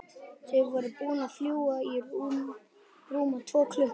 Þau voru búin að fljúga í rúma tvo tíma.